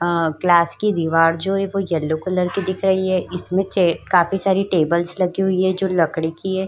अअअ क्लास की दिवार जो ये येल्लो कलर की दिख रही है। इसमें काफी सारे चे टेबल्स लगी हुई है जो लकड़ी की है।